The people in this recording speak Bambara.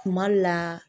Tuma la